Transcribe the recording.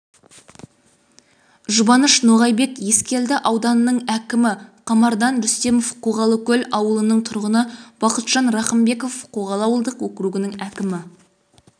жұбаныш ноғайбек ескелді ауданының әкімі қамардан рүстемов қоғалыкөл ауылының тұрғыны бақытжан рақымбеков қоғалы ауылдық окугінің әкімі